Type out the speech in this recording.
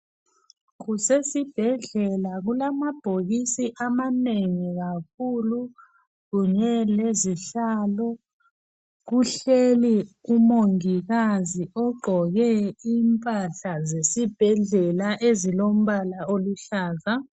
Kusesibhedlela kulamabhokisi amanengi kakhulu kunye kezihlalo. Kuhleli umongikazi ogqoke impahla zesibhedlela ezilombala oluhlaza.